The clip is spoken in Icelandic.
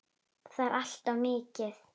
Það er allt of mikið.